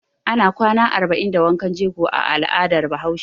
Ana kwana arba'in na wankan jego a al'adar Bahaushe.